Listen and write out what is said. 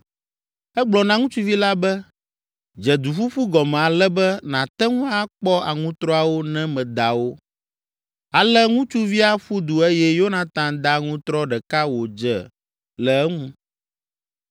Egblɔ na ŋutsuvi la be, “Dze duƒuƒu gɔme ale be nàte ŋu akpɔ aŋutrɔawo ne meda wo.” Ale ŋutsuvia ƒu du eye Yonatan da aŋutrɔ ɖeka wòdze le eŋu.